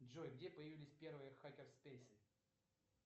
джой где появились первые хакер спейсы